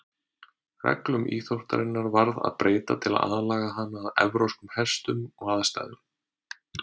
Reglum íþróttarinnar varð að breyta til að aðlaga hana að evrópskum hestum og aðstæðum.